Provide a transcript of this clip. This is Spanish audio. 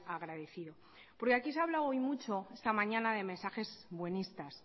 agradecido porque aquí se ha hablado hoy mucho esta mañana de mensajes buenistas